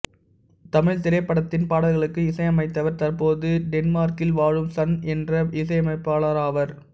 தமிழ்த்திரைப்படத்தின் பாடல்களுக்கு இசையமைத்தவர் தற்போது டென்மார்க்கில் வாழும் சண் என்ற இசையமைப்பாளராவார்